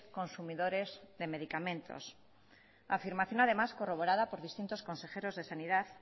consumidores de medicamentos afirmación además corroborada por distintos consejeros de sanidad